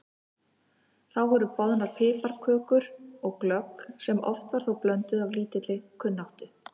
Þá voru boðnar piparkökur og glögg sem oft var þó blönduð af lítilli kunnáttu.